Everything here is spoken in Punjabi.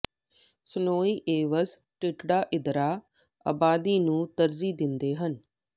ਸਨੋਈ ਵੇਲਜ਼ ਟਿਡ੍ਰੜਾ ਟਿੱਦਰਾ ਆਬਾਦੀ ਨੂੰ ਤਰਜੀਹ ਦਿੰਦੇ ਹਨ